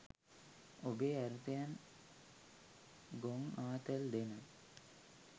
ඔබේ අර්ථයෙන් ගොං ආතල් දෙන